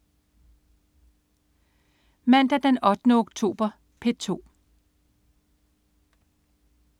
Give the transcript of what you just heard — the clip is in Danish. Mandag den 8. oktober - P2: